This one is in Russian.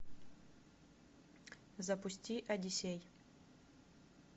запусти одиссей